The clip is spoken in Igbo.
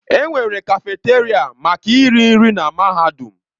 Enwere kafeteria maka iri nri na mahadum.